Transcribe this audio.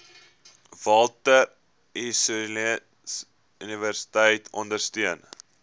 walter sisuluuniversiteit ondersteun